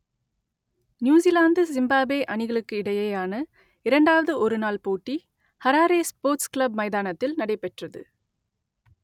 New Zealand Zimbabwe அணிகளுக்கு இடையேயான இரண்டாவது ஒருநாள் போட்டி ஹராரே ஸ்போர்ட்ஸ் கிளப் மைதானத்தில் நடைபெற்றது